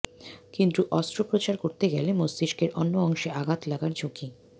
কিন্তু অস্ত্রোপচার করতে গেলে মস্তিষ্কের অন্য অংশে আঘাত লাগার ঝুঁকি